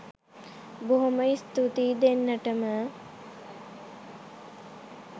බොහොම ස්තූතියි දෙන්නටම